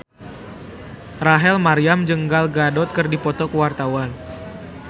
Rachel Maryam jeung Gal Gadot keur dipoto ku wartawan